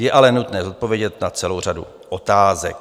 Je ale nutné zodpovědět na celou řadu otázek.